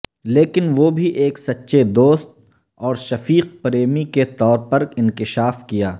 لیکن وہ بھی ایک سچے دوست اور شفیق پریمی کے طور پر انکشاف کیا